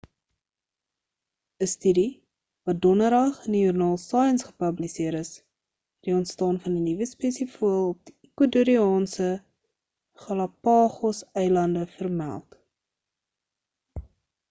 'n studie wat donderdag in die joernaal science gepubliseer is het die ontstaan van 'n nuwe spesie voël op die ecuadoriaanse galapagos eilande vermeld